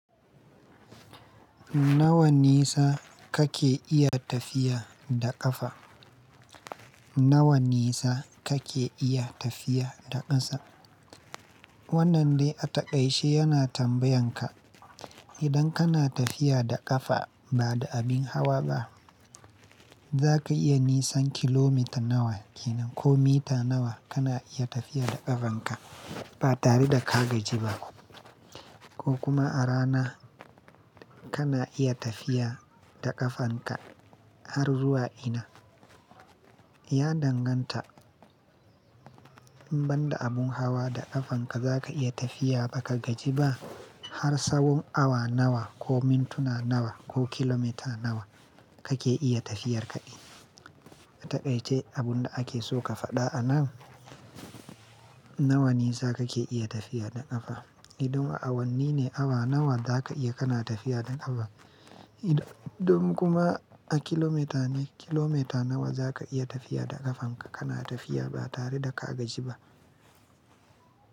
Nawa nisa kake iya tafiya da ƙafa? Nawa nisa kake iya tafiya da ƙasa? Wannan dai a taƙaice yana tambayan ka, idan kana tafiya da ƙafa ba da abin hawa ba, za ka iya nisan kilomita nawa kenan ko mita nawa kana iya tafiya da ƙafanka ba tare da ka gaji ba ko kuma a rana kana iya tafiya da ƙafanka har zuwa ina? Ya danganta, in banda abun hawa da ƙafanka za ka iya tafiya ba ka gaji ba har tsawon awa nawa ko mintuna nawa ko kilomita nawa kake iya tafiyar ka ɗin. A taƙaice abun da ake so ka faɗa anan nawa nisa kake iya tafiya da ƙafa. Idan a awanni ne, awa nawa za ka iya kana tafiya da ƙafa. Idan kuma a kilomita ne, kilomita nawa za ka iya tafiya da ƙafanka kana tafiya ba tare da ka gaji ba.